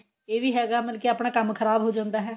ਇਹ ਵੀ ਹੈਗਾ ਮਤਲਬ ਆਪਣਾ ਕੰਮ ਖਰਾਬ ਹੋ ਜਾਂਦਾ ਹੈ